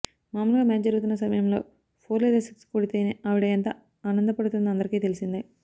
మామూలుగా మ్యాచ్ జరుగుతున్న సమయంలో ఫోర్ లేదా సిక్స్ కొడితేనే ఆవిడ ఎంత ఆనంద పడుతుందో అందరికీ తెలిసిందే